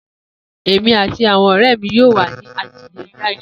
Emi ati awọn ọrẹ mi yoo wa ni adiye jade.